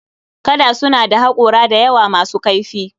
Kada suna da haƙora da yawa masu kaifi